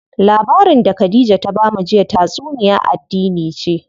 Labarin da Khadija ta bamu jiya tatsuniya addini ce.